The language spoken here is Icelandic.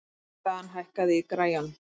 Dan, hækkaðu í græjunum.